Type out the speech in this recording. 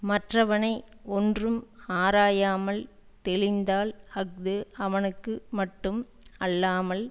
மற்றவனை ஒன்றும் ஆராயாமல் தெளிந்தால் அஃது அவனுக்கு மட்டும் அல்லாமல்